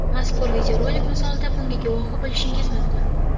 Mazkur videorolik misolida bunga guvohi bo‘lishingiz mumkin.